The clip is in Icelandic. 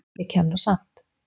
Ég kem nú samt!